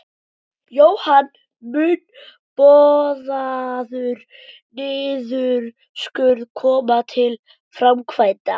Jóhann: Mun boðaður niðurskurður koma til framkvæmda?